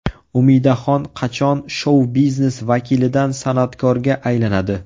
Umidaxon qachon shou-biznes vakilidan san’atkorga aylanadi?